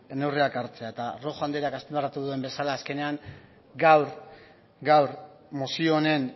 neurriak hartzea ere eta rojo andreak azpimarratu duen bezala azkenean gaur mozio honen